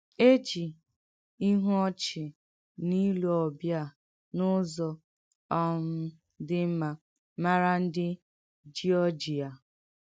É jì ìhú ọ̀chị na ìlù ọ̀bịà n’ụ́zọ̀ um dị̀ mma màrà ǹdị Jíọ́jíà.